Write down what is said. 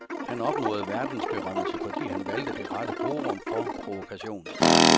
Han opnåede verdensberømmelse, fordi han valgte det rette forum for provokation.